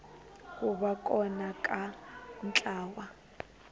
ku va kona ka ntlawa